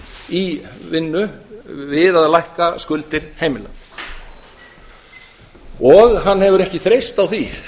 í vinnu við að lækka skuldir heimila og hann hefur ekki þreyst á því